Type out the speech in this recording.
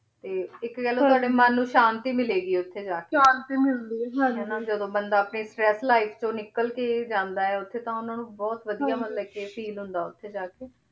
ਤੇ ਏਇਕ ਗਲ ਤਾਵਾਦ੍ਯਾ ਮਨ ਨੂ ਸ਼ਾਂਤੀ ਮਿਲੇ ਗੀ ਓਥੇ ਜਾ ਕੇ ਸ਼ਾਂਤੀ ਮਿਲੁ ਗੀ ਓਥੇ ਜਾ ਕੇ ਹੈ ਨਾ ਜਦੋਂ ਬੰਦਾ ਆਪਣੀ ਫੈਸਲਾ ਚੋ ਨਿਕਲ ਕੇ ਜਾਂਦਾ ਓਥੇ ਤਾਂ ਓਹਨਾਂ ਨੂ ਬੋਹਤ ਵਾਦਿਯ ਮਤਲਬ ਫੀਲ ਹੁੰਦਾ ਓਥੇ ਜਾ ਕੇ